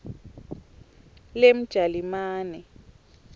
lemjalimane